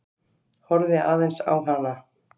Horfði aðeins á hana.